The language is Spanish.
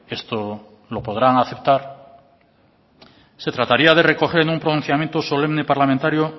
esto lo podrán aceptar se trataría de recoger en un pronunciamiento solemne parlamentario